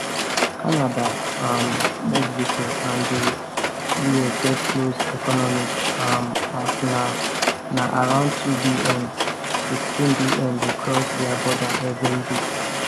canada um mexico and di us get close economies um as na na around 2bn 16bn dey cross dia border evriday